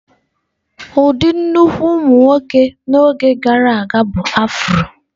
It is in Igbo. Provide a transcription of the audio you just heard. Ụdị nnukwu ụmụ nwoke n'oge gara aga bụ afro.